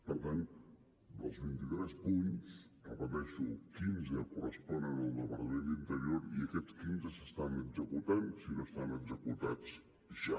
per tant dels vint i tres punts ho repeteixo quinze corresponen al departament d’interior i aquests quinze s’estan executant si no estan executats ja